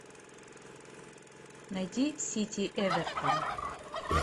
найди сити эвертон